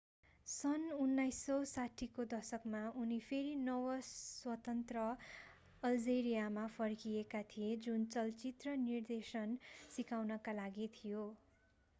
सन् 1960 को दशकमा उनी फेरि नव-स्वतन्त्र अल्जेरियामा फर्किएका थिए जुन चलचित्र निर्देशन सिकाउनका लागि थियो